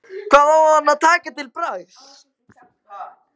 Hvað á hann að taka til bragðs?